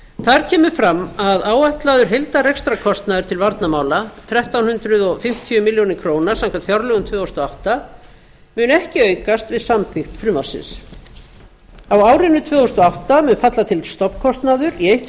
þar kemur fram að áætlaður heildarrekstrarkostnaður til varnarmála þrettán hundruð fimmtíu milljónir króna samkvæmt fjárlögum tvö þúsund og átta mun ekki aukast við samþykkt frumvarpsins á árinu tvö þúsund og átta mun falla til stofnkostnaður í eitt